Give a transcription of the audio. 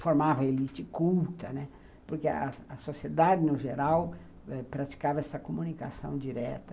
formava a elite culta, né, porque a sociedade, no geral, praticava essa comunicação direta.